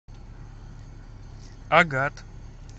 агат